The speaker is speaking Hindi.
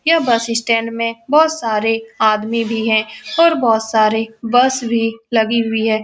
यह बस स्टैंड में बहुत सारे आदमी भी हैं और बहुत सारी बस भी लगी हुई हैं ।